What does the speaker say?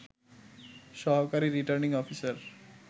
সহকারী returning officer